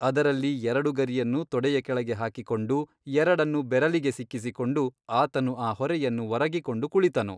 ಅದರಲ್ಲಿ ಎರಡು ಗರಿಯನ್ನು ತೊಡೆಯ ಕೆಳಗೆ ಹಾಕಿಕೊಂಡು ಎರಡನ್ನು ಬೆರಲಿಗೆ ಸಿಕ್ಕಿಸಿಕೊಂಡು ಆತನು ಆ ಹೊರೆಯನ್ನು ಒರಗಿಕೊಂಡು ಕುಳಿತನು.